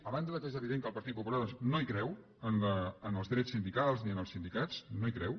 a banda que és evidentment que el partit popular doncs no hi creu en els drets sindicals ni en els sindicats no hi creu